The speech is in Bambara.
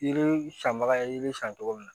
Yiri sanbaga ye yiri san cogo min na